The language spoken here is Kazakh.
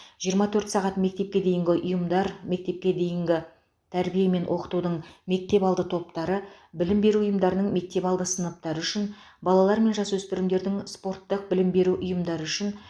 жиырма төрт сағат мектепке дейінгі ұйымдар мектепке дейінгі тәрбие мен оқытудың мектепалды топтары білім беру ұйымдарының мектепалды сыныптары үшін балалар мен жасөспірімдердің спорттық білім беру ұйымдары үшін